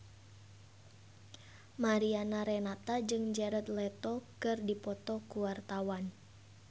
Mariana Renata jeung Jared Leto keur dipoto ku wartawan